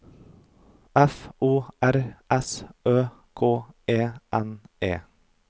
F O R S Ø K E N E